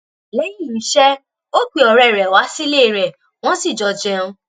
lẹ́yìn iṣẹ́ ó pe ọ̀rẹ́ rẹ̀ wá sílé rẹ̀ wọ́n sì jọ jẹun